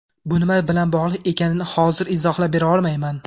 Bu nima bilan bog‘liq ekanini hozir izohlab bera olmayman.